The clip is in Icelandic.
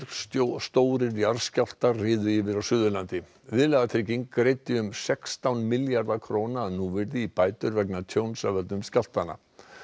stórir jarðskjálftar riðu yfir á Suðurlandi viðlagatrygging greiddi um sextán milljarða króna að núvirði í bætur vegna tjóns af völdum skjálftanna